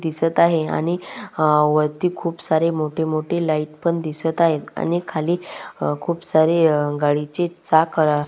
दिसत आहे आणि अ वरती खुप सारे मोठे मोठे लाइट पण दिसत आहेत आणि खाली खुप सारे अ गाडीचे चाक अ --